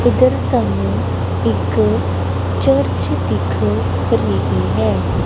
ਉਧਰ ਸਾਨੂੰ ਇੱਕ ਚਰਚ ਦਿਖ ਰਹੀ ਹੈ।